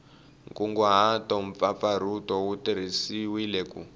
nkunguhato mpfapfarhuto wu tirhisiwile ku